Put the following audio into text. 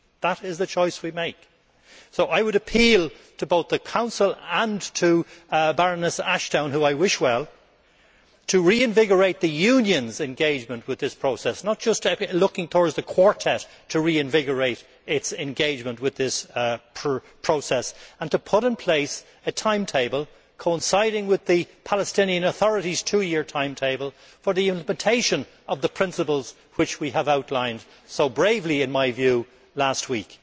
That is the choice we have to make. I would appeal to both the Council and to Baroness Ashton, whom I wish well, to reinvigorate the Union's engagement with this process not just looking towards the Quartet to reinvigorate its engagement with the process and to put in place a timetable coinciding with the Palestinian authority's two year timetable for the implementation of the principles we outlined, so bravely in my view, last week.